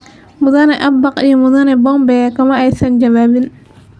Mudane. Abaq iyo mudane .Pompeo kama aysan jawaabin.